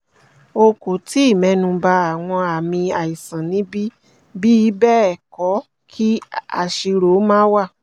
o kò tíì mẹ́nuba àwọn àmì aisan níbí bi bẹ́ẹ̀ kọ kí àṣírò má wà